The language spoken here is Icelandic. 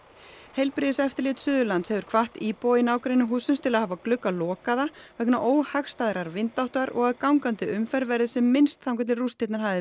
heilbrigðiseftirlit Suðurlands hefur hvatt íbúa í nágrenni hússins til að hafa glugga lokaða vegna óhagstæðrar vindáttar og að gangandi umferð verði sem minnst þangað til rústirnar hafi